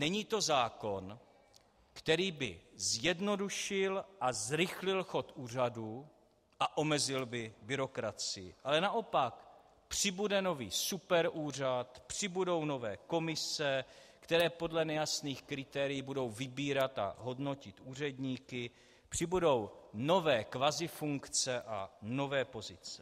Není to zákon, který by zjednodušil a zrychlil chod úřadů a omezil by byrokracii, ale naopak - přibude nový superúřad, přibudou nové komise, které podle nejasných kritérií budou vybírat a hodnotit úředníky, přibudou nové kvazifunkce a nové pozice.